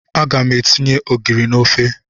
Aga m etinye ogiri na ofe.